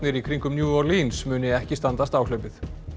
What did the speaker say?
í kringum New muni ekki standast áhlaupið